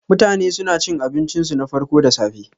Mutane suna cin abincinsu na farko da safe.